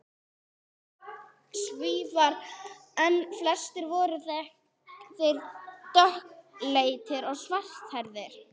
Svíar. en flestir voru þeir dökkleitir og svarthærðir.